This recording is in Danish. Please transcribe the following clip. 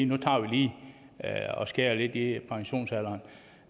nu tager vi lige og skærer lidt i pensionsalderen